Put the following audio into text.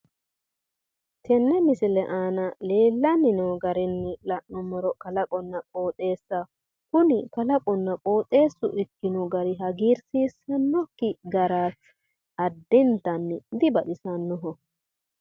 tenne misile aana leellanni noo garinni la'nummoro kalaqonna qooxeessaho kuni kalaqunna qooxeessu ikkino gari hagiirsiisannokki garaati addintanni dibaxisannoho.